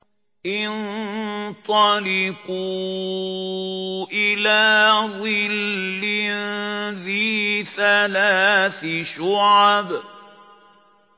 انطَلِقُوا إِلَىٰ ظِلٍّ ذِي ثَلَاثِ شُعَبٍ